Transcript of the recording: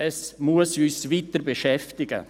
Es muss uns weiter beschäftigen.